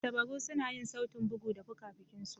Tantabaru suna yin sautin bugu da fuka-fuki su.